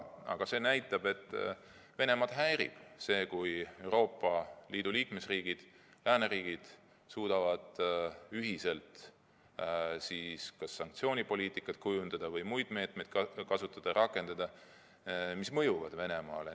Aga see näitab, et Venemaad häirib see, kui Euroopa Liidu liikmesriigid, lääneriigid suudavad ühiselt kujundada sanktsioonipoliitikat või kasutada muid meetmeid, mis Venemaale mõjuvad.